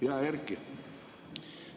Hea Erki!